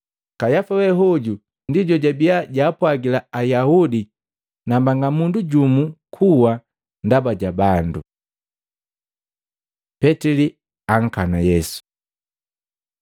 Kayafa we hoju ndi jojabiya jaapwagila Ayaudi nambanga mundu jumu kuwa ndaba ja bandu. Petili ankana Yesu Matei 26:69-70; Maluko 14:66-68; Luka 22:55-57